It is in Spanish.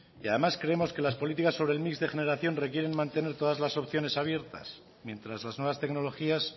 y además creemos que las políticas sobre el mix de generación requieren mantener todas las opciones abiertas mientras las nuevas tecnologías